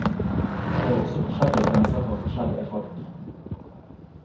Det er også forskjellige grenser for forskjellige folk.